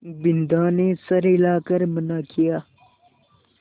बिन्दा ने सर हिला कर मना किया